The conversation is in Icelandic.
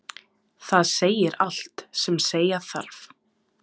Það segir allt sem segja þarf.